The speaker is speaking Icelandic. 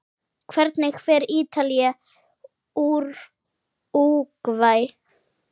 Hvernig fer Ítalía- Úrúgvæ?